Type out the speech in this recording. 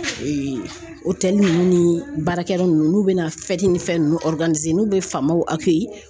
ninnu ni baarakɛyɔrɔ ninnu n'u bɛna ni fɛn ninnu n'u bɛ faamaw